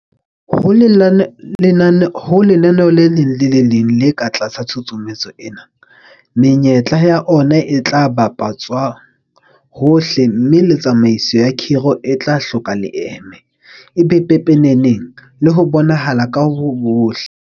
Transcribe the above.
Ho lenaneo le leng le le leng le ka tlasa tshusumetso ena, menyetla ya ona e tla bapa tswa hohle mme le tsamaiso ya khiro e tla hloka leeme, e be pepeneneng le ho bonahala ho bohle.